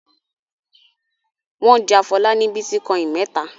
Wọn ja Fọlá ní bítíkọ́ìn mẹ́ta.